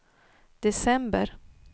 december